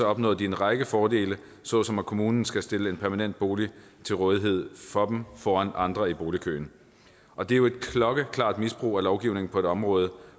opnåede de en række fordele såsom at kommunen skal stille en permanent bolig til rådighed for dem foran andre i boligkøen og det er jo et klokkeklart misbrug af lovgivningen på et område